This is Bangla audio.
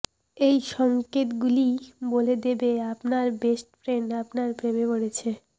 এই সঙ্কেতগুলিই বলে দেবে আপনার বেস্ট ফ্রেন্ড আপনার প্রেমে পড়েছে